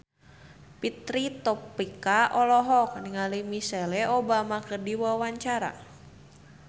Fitri Tropika olohok ningali Michelle Obama keur diwawancara